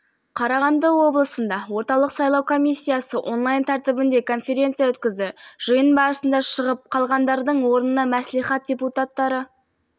сайлауын өткізуге әзірлік сайлаушылар тізімдерін құру бойынша жұмыстарды жетілдіру мәселелері талқыланды аймақтардың әкімдері бейнебайланысқа қосылып